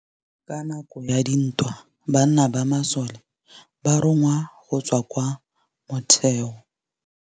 Ka nakô ya dintwa banna ba masole ba rongwa go tswa kwa mothêô.